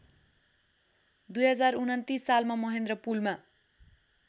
२०२९ सालमा महेन्द्रपुलमा